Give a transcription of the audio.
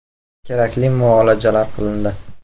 Kerakli muolajalar qilindi.